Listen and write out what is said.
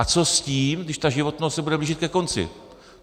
A co s tím, když ta životnost se bude blížit ke konci.